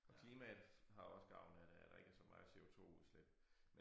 Og klimaet har også gavn af det at der ikke er så meget CO2 udslip